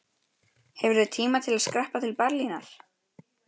Hefurðu tíma til að skreppa til Berlínar?